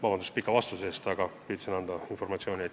Vabandust pika vastuse eest, aga püüdsin anda ammendavat informatsiooni.